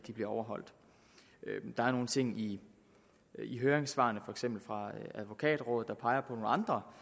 overholdt der er nogle ting i i høringssvarene for eksempel fra advokatrådet der peger